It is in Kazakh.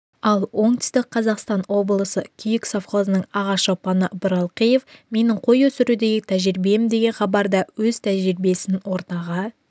ал оңтүстік қазақстан облысы күйік совхозының аға шопаны бұралқиев менің қой өсірудегі тәжірибем деген хабарда өз тәжірибесін ортаға